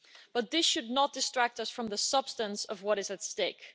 But this should not distract us from the substance of what is at stake.